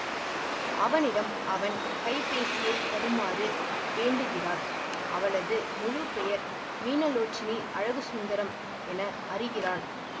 அவனிடம் அவன் கைப்பேசியை தருமாறு வேண்டுகிறாள் அவளது முழு பெயர் மீனலோச்சனி அழகுசுந்தரம் என அறிகிறான்